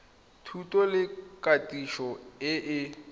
thuto le katiso e e